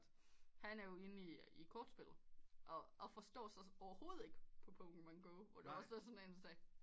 Han er jo inde i kortspillet og forstår forstår sig overhovedet ikke på Pokemon Go hvor der også var en der sagde